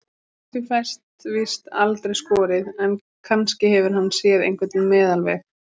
Úr því fæst víst aldrei skorið, en kannski hefur hann séð einhvern meðalveg.